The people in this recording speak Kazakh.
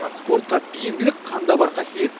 спортқа бейімділік қанда бар қасиет